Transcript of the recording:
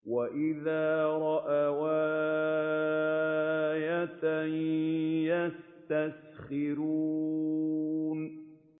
وَإِذَا رَأَوْا آيَةً يَسْتَسْخِرُونَ